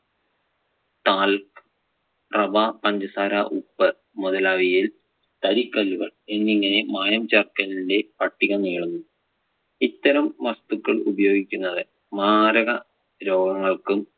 talc. റവ, പഞ്ചസാര, ഉപ്പ് മുതലായവയിൽ തരികല്ലുകൾ എന്നിങ്ങനെ മായം ചേർക്കലിന്‍റെ പട്ടിക നീളുന്നു. ഇത്തരം വസ്തുക്കൾ ഉപയോഗിക്കുന്നത് മാരക രോഗങ്ങൾക്കും